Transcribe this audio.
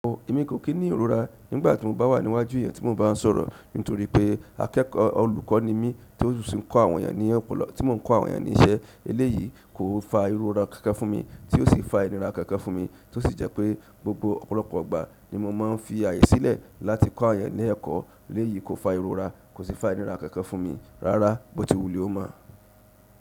O, èmi kò kí ní ìrora nígbà tí mo bá wà níwájú ìyẹn tí mo bá ń sọ̀rọ̀ nítorí pé akẹ́kọ̀ọ́ olùkọ́ ni mí tí ó sì ń kọ́ àwọn ènìyàn ní ọ̀pọ̀lọpọ̀ tí mò ń kọ́ àwọn ènìyàn ní iṣẹ́ eléyìí kò fa ìrora kankan fún mi tí ó sì fa ìnira kankan fún mi tí ó sì jẹ́ pé gbogbo ọ̀pọ̀lọpọ̀ ìgbà ni mo máa ń fi àyè sílẹ̀ láti kọ́ eeyàn ní ẹ̀kọ́ eléyìí kò fa ìrora kò sì fa ìnira kankan fún mi rárá bó ti wulẹ ó mọ.